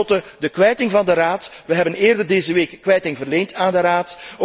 En ten slotte de kwijting van de Raad. Wij hebben eerder deze week kwijting verleend aan de